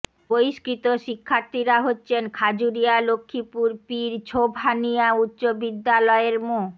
বহিষ্কৃত শিক্ষার্থীরা হচ্ছেন খাজুরিয়া লক্ষীপুর পীর ছোবহানিয়া উচ্চ বিদ্যালয়ের মো